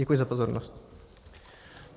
Děkuji za pozornost.